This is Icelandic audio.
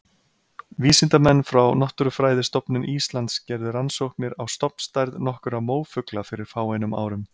Vísindamenn frá Náttúrufræðistofnun Íslands gerðu rannsóknir á stofnstærð nokkurra mófugla fyrir fáeinum árum.